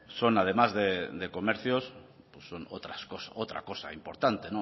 son además de comercios son otra cosa importante